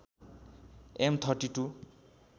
am ३२